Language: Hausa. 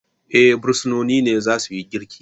Eh, bursinoni ne za suyi girki